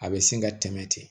A bɛ sin ka tɛmɛ ten